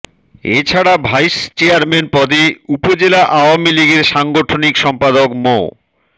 এ ছাড়া vice chairman পদে উপজেলা আওয়ামী লীগের সাংগঠনিক সম্পাদক মো